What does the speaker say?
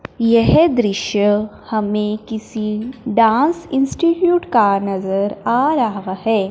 यह दृश्य हमें किसी डांस इंस्टिट्यूट का नजर आ रहा है।